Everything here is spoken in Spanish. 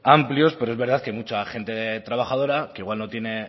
amplios pero es verdad que mucha gente trabajadora que igual no tiene